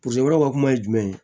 ka kuma ye jumɛn ye